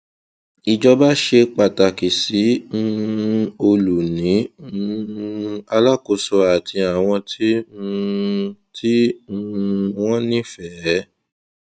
ìjábọ ṣe pàtàkì sí um olùní um alákòóso àti àwọn tí um tí um wón nífẹẹ